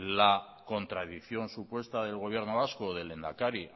la contradicción supuesta del gobierno vasco del lehendakari